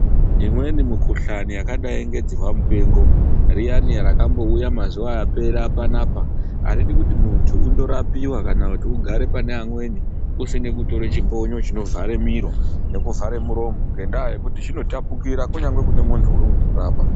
Imweni mukhuhlane yakadayi ngedziwampengo, riyani rakambowuya mazuva apera panapa, aridi kuti munthu undorapiwa kana kuti ugare pana amweni usina kutore chibonyo chinovhare mhiro nekuvhare muromo, ngendaha yekuti zvinotapukira kunyangwe kune munthu urikukurapa.